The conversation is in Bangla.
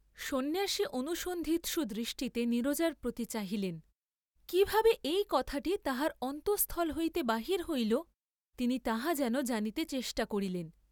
সন্ন্যাসী অনুসন্ধিৎসু দৃষ্টিতে নীরজার প্রতি চাহিলেন, কি ভাবে এই কথাটি তাহার অন্তঃস্থল হইতে বাহির হইল, তিনি তাহা যেন জানিতে চেষ্টা করিলেন।